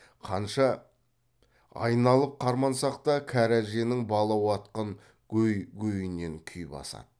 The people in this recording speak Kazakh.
қанша айналып қармансақ та кәрі әженің бала уатқан гөй гөйіндей күй басады